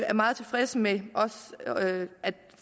er meget tilfreds med at